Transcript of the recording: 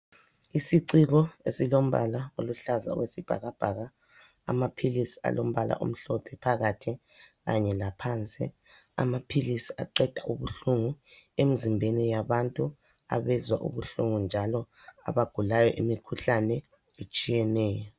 Isiciko esilombala oluhlaza okwesibhakabhaka amaphilisi alombala omhlophe phakathi kanye laphansi, amaphilisi aqeda ubuhlungu emzimbeni yabantu abezwa ubuhlungu njalo abagulayo imikhuhlane etshiyeneyo.